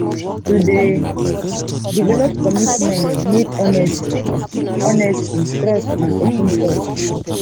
to dey develop commitment need honesty honesty trust and open talk